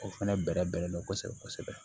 O fɛnɛ bɛrɛbɛn bɛnnen do kosɛbɛ kosɛbɛ